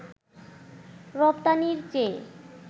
রপ্তানির চেয়ে